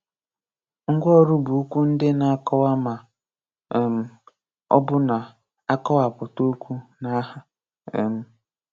Ngwaọrụ bụ okwu ndi na-akọwa ma um ọ bụ na-akọwapụta okwu na aha. um